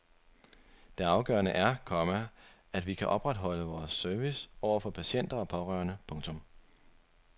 Det afgørende er, komma at vi kan opretholde vores service over for patienter og pårørende. punktum